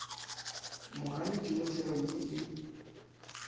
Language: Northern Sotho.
moganetši mo therong ye e